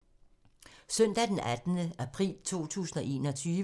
Søndag d. 18. april 2021